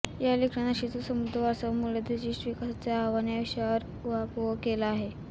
या लेखात नाशिकचा समृद्ध वारसा व मूल्याधिष्ठित विकासाचे आव्हान या विषयावर उहापोह केला आहे